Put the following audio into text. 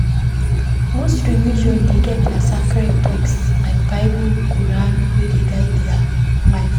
Most religion dey get their sacred text like bible, quoran wey dey guide their life